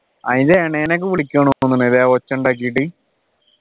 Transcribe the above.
അതിൻ്റെ ഇണനെ ഒക്കെ വിളിക്കാ തോന്നുന്നുണ്ട് അല്ലെ ഒച്ച ഉണ്ടാക്കീട്ടു